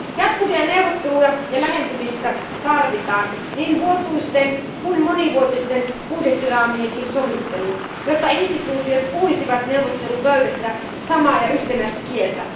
Jatkuvia neuvotteluja ja lähentymistä tarvitaan, niin vuotuisten kuin monivuotisten budjettiraamienkin sovitteluun, jotta toimielimet puhuisivat neuvottelupöydässä samaa ja yhtenäistä kieltä.